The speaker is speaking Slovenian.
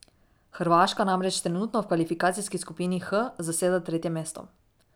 Hrvaška namreč trenutno v kvalifikacijski skupini H zaseda tretje mesto.